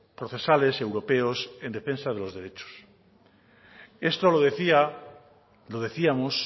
procesales europeos en defensa de los derechos esto lo decía lo decíamos